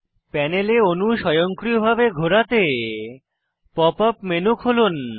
প্যানেলে অনু স্বয়ংক্রিয়ভাবে ঘোরাতে পপ আপ মেনু খুলুন